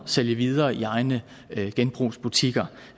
sælge videre i egne genbrugsbutikker